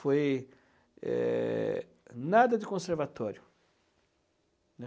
Foi eh, nada de conservatório, né?